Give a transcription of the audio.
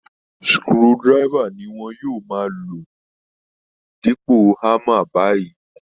Screwdriver ni wọn yóò máa lò dípò hámmer báyìí